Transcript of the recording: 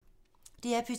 DR P2